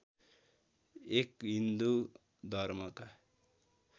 एक हिन्दू धर्मका